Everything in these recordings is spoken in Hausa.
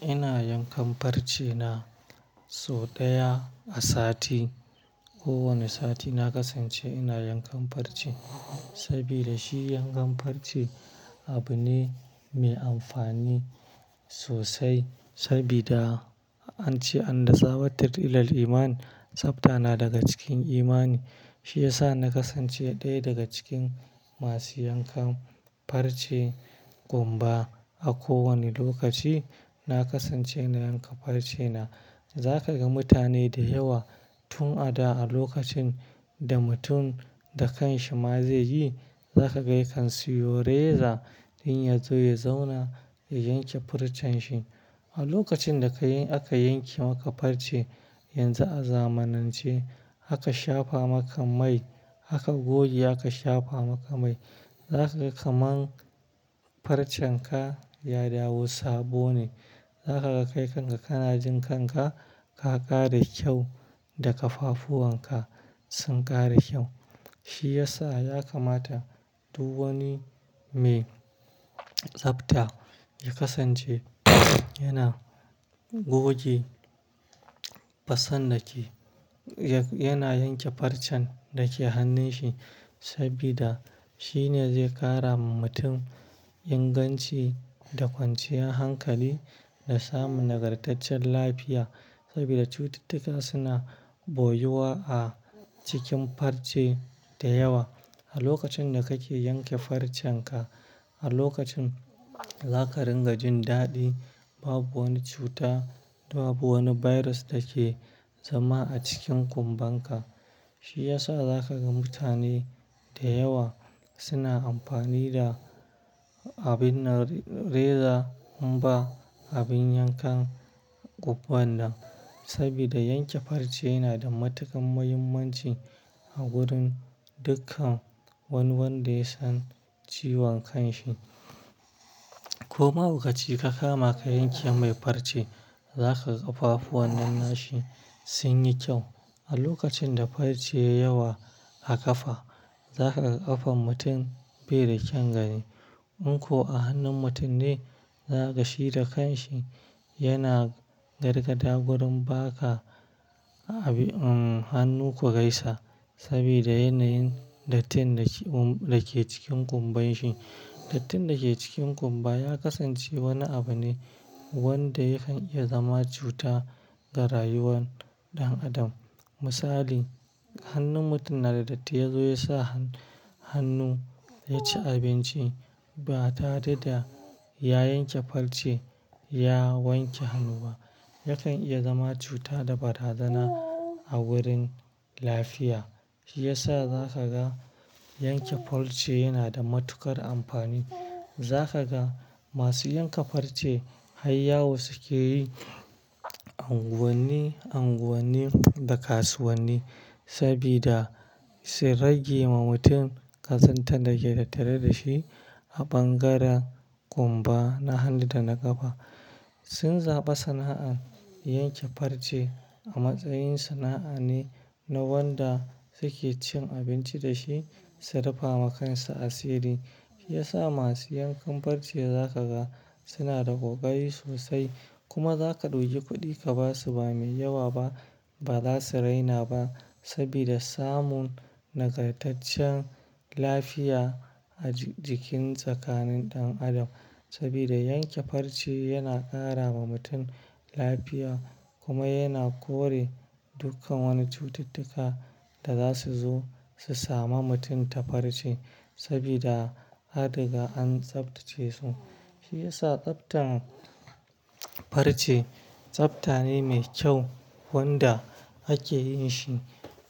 Ina yankan farce na sau ɗaya a sati. Ko wane sati na kasance ina yankan farce saboda shi yankan farce abu ne mai amfani sosai. Saboda an ce an da zawatar ilal iman tsafta na daga cikin imani. Shi ya sa na kasance ɗaya daga cikin masu yankan farce ƙumba a kowane lokaci. Na kasance na yanka farce na. Za ka ga mutane da yawa tun a da a lokacin da mutum da kanshi ma zai yi, za ka ga kan siyo reza in ya zo ya zauna ya yanke fancen shi. A lokacin da aka yanke maka farce yanzu a zamanance, aka shafa maka mai, aka goge aka shafa maka mai. Za ka ga kaman farcen ka ya dawo sabo ne. Za ka ga kai kanka kana jin kanka ka ƙara kyau da ƙafafuwan ka sun ƙara kyau. Shi ya sa za ka mata duk wani mai tsafta ya kasance yana goge fasal da ke, yana yanke fancen da ke hannun shi. Saboda shi ne zai ƙara wa mutum inganci da kwanciyar hankali da samun nagartaccen lafiya. Saboda cututtuka suna ɓoye wa a cikin farce da yawa. A lokacin da kake yanke fancen ka, a lokacin zaka ringa jin daɗi. Babu wani cuta da babu wani virus da ke zama a cikin ƙumban ka. Shi ya sa za ka ga mutane da yawa suna amfani da abin reza ƙumba, abin yankan ƙumban nan. Saboda yanke farce yana da matuƙar muhimmanci a wurin dukkan wani wadda ya san ciwon kanshi. Ko mahaukaci ka kama ka yanke mai farce, za ka ga ƙafafuwan nan na shi sun yi kyau. A lokacin da farce ya yi yawa a ƙafa, za ka ga ƙafan mutum bai da kyaun gani. In ko a hannun mutum ne, za ka shi da kanshi yana gargaɗa wurin baka hannu ku gaisa. Saboda yanayin dattin da ke cikin ƙumban shi. Dattin da ke cikin ƙumba ya kasance wani abu ne wadda yakan iya zama cuta ga rayuwar ɗan adam. Misali, hannun mutum na da datti ya zo ya sa hannu ya ci abinci ba tare da ya yanke farce ya wanke hannu ba. Yakan iya zama cuta da bata zana a wurin lafiya. Shi ya sa za ka ga yanke farce yana da matuƙar amfani. Za ka ga masu yanka farce har yawu suke yi anguwanne, anguwanne da kasuwanni. Saboda su rage wa mutum kasantar da ke taare da shi a bangaren ƙumba na hannu da na ƙafa. Sun zaba sana'ar yanke farce a matsayin sana'a ne na wadda suke cin abinci da shi su rufe wa kansu asiri. Shi ya sa masu yankan farce za ka ga suna da kokari sosai. Kuma za ka ɗauki kuɗi ka ba su ba mai yawa ba, ba za su raina ba saboda samun nagartaccen lafiya a jikin tsakanin ɗan adam. Saboda yanke farce yana ƙara wa mutum lafiya kuma yana kore dukkan wani cututtuka da za su zo su same mutum ta farce saboda an riga an tsaftace su. Shi ya sa tsaftan farce tsafta ne mai kyau wadda ake yin shi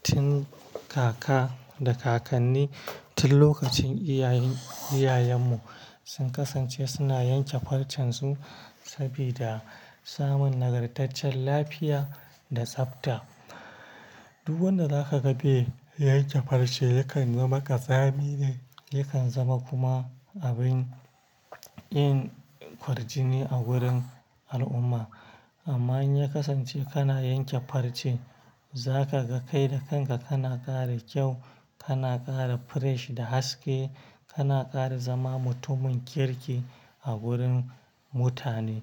tun kaka da kakanni tun lokacin iyayen, iyayenmu sun kasance suna yanke fancen su saboda samun nagartaccen lafiya da tsafta. Duk wadda zaka gabe yake farce yakan zama ƙasami ne. Yakan zama kuma abin yin kwarjini a wurin al'umma. Amma in ya kasance kana yanke farce, za ka ga kai da kanka kana ƙara kyau, kana ƙara fresh da haske, kana ƙara zama mutumin kirki a wurin mutane.